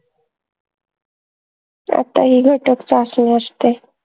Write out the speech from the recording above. आता असते